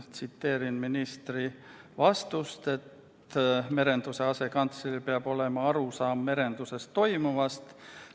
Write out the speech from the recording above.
Tsiteerin ministri vastust, et merenduse asekantsleril peab olema arusaam merenduses toimuvast.